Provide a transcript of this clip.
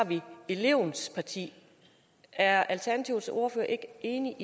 elevens parti er alternativets ordfører ikke enig